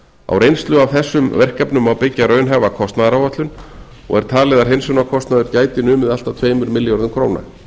á reynslu af þessum verkefnum má byggja raunhæfa kostnaðaráætlun og er talið að hreinsunarkostnaður gæti numið allt að tveimur milljörðum króna